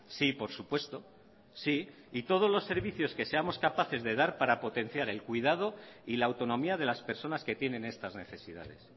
sí por supuesto sí y todos los servicios que seamos capaces de dar para potenciar el cuidado y la autonomía de las personas que tienen estas necesidades